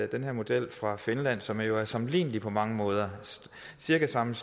den her model fra finland som jo er sammenlignelig på mange måder cirka samme